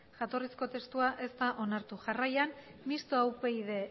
jatorrizko testua ez da onartu jarraian mistoa upyd